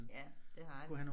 Ja det har de